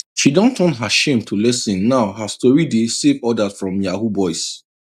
she don turn her shame to lesson now her story dey save others from yahoo boys